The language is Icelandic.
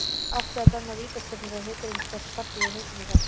Átti að dæma vítaspyrnu þegar Haukur Ingi fékk spark í hausinn í gær?